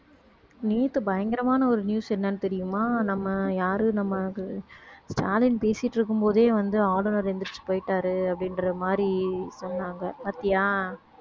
நேத்து பயங்கரமான ஒரு news என்னன்னு தெரியுமா நம்ம யாரு நம்ம அது ஸ்டாலின் பேசிட்டு இருக்கும் போதே வந்து ஆளுநர் எந்திரிச்சு போயிட்டாரு அப்படின்ற மாதிரி சொன்னாங்க பார்த்தியா